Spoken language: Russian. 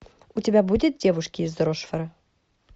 у тебя будет девушки из рошфора